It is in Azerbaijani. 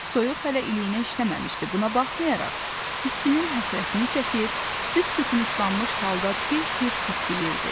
Soyuq hələ iliyinə işləməmişdi, buna baxmayaraq, istinin həsrətini çəkir, büsbütün islanmış halda tir-tir titrəyirdi.